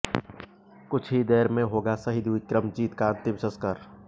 कुछ ही देर में होगा शहीद विक्रमजीत का अंतिम संस्कार